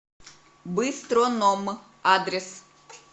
быстроном адрес